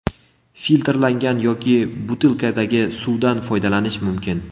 Filtrlangan yoki butilkadagi suvdan foydalanish mumkin.